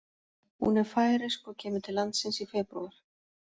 Hún er færeysk og kemur til landsins í febrúar.